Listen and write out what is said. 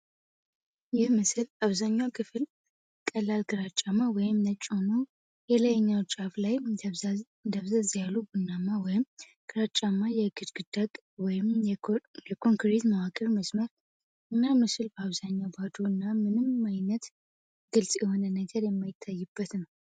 ይህ ምስል አብዛኛው ክፍል ቀላል ግራጫማ ወይም ነጭ ሆኖ፣ የላይኛው ጫፍ ላይ ደብዘዝ ያለ ቡናማ ወይም ግራጫማ የግድግዳ ወይም የኮንክሪት መዋቅር መስመር እና ምስሉ በአብዛኛው ባዶ እና ምንም ዓይነት ግልጽ የሆነ ነገር የማይታይበት ነው።